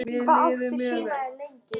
Hvert er planið eftir menntó?